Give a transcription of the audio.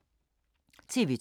TV 2